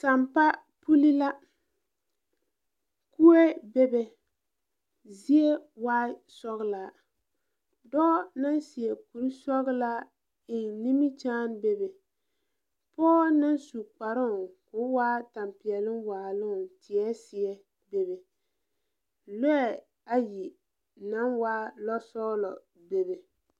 Sampa puli la. Kue bebe, zie waaɛ sɔgelaa, dɔɔ naŋ seɛ kuri sɔgelaa eŋ nimikyaane bebe pɔge naŋ su kparoŋ k’o waa tampeɛloŋ waaloŋ teɛ seɛ bebe. Lɔɛ ayi naŋ waa lɔsɔgelɔ bebe.